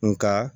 Nga